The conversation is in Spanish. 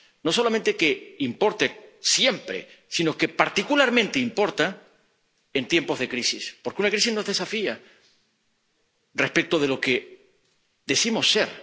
No solamente importa siempre, sino que particularmente importa en tiempos de crisis, porque una crisis nos desafía respecto de lo que decimos ser